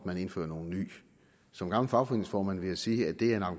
man indfører nogle nye som gammel fagforeningsformand vil jeg sige at det er en